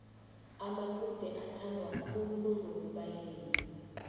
amacude athandwa kakhulu ngonobayeni